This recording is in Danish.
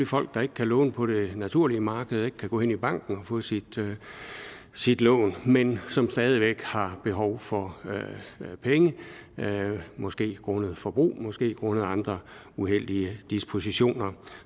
folk der ikke kan låne på det naturlige marked og ikke kan gå hen i banken og få sit sit lån men som stadig væk har behov for penge måske grundet forbrug måske grundet andre uheldige dispositioner